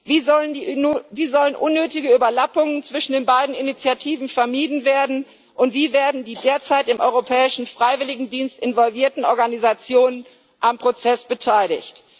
Wie sollen unnötige Überlappungen zwischen den beiden Initiativen vermieden werden, und wie werden die derzeit im Europäischen Freiwilligendienst involvierten Organisationen am Prozess beteiligt?